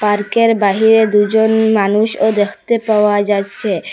পার্কের বাহিরে দুজন মানুষও দেখতে পাওয়া যাচ্ছে।